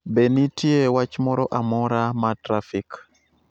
Be nitie wach moro amora ma trafik